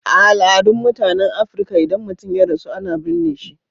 A al'adun mutanen Afrika, idan mutum ya rasu, ana burne su.